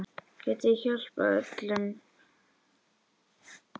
Getið þið hjálpað öllum?